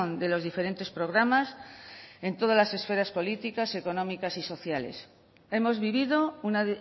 de los diferentes programas en todas las esferas políticas económicas y sociales hemos vivido una